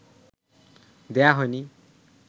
দেয়া হয়নি